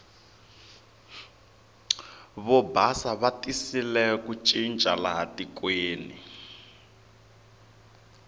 vo basa va tisile ku cinca laha tikweni